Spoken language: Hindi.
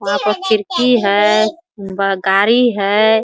वहाँ पे पर खिड़की है ब गाड़ी है ।